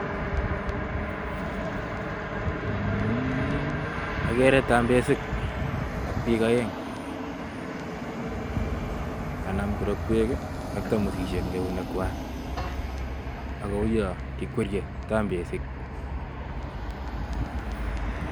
Agere tambesik, ak biik aeng'. Kanam kirokwek, ak tamosishek en keunekwak. Akouyon kikwerie tambesik.